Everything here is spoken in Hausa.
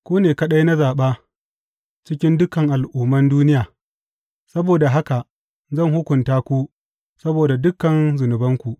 Ku ne kaɗai na zaɓa cikin dukan al’umman duniya; saboda haka zan hukunta ku saboda dukan zunubanku.